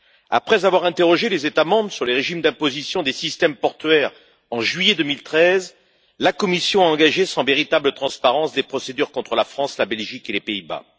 Après avoir interrogé les États membres sur les régimes d'imposition des systèmes portuaires en juillet 2013, la Commission a engagé, sans véritable transparence, des procédures contre la France, la Belgique et les Pays Bas.